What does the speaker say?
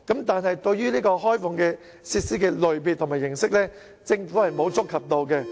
但是，對於開放設施的類別和形式，政府並沒有觸及。